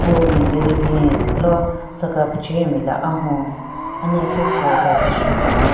Pool ben nme le bin lo tsüka pechenyu nme le ahon anya thyu pvüo tsatsü shu binyon.